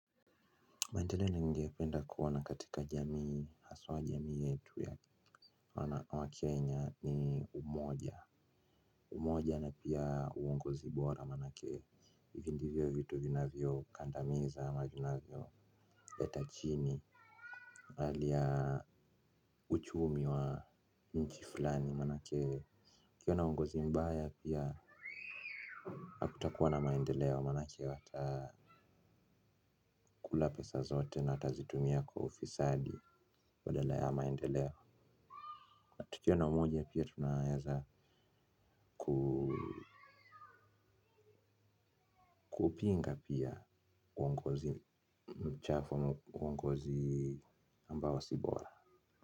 Maendeleo ningependa kuona katika jamii aswa jamii yetu ya wakenya ni umoja. Umoja na pia uongozi bora manake hivi ndivyo vitu vinavyo kandamiza ama vinavyo leta chini hali ya uchumi wa nchi fulani manake kukiwa na uongozi mbaya pia hakutakuwa na maendeleo manake watakula pesa zote na watazitumia kwa ufisadi badala ya maendeleo. Tukiwa na umoja pia tunaweza kuupinga pia uongozi mchafu uongozi ambao si bora.